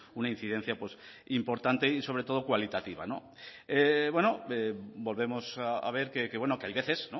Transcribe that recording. una incidencia importante y sobre todo cualitativa volvemos a ver que hay veces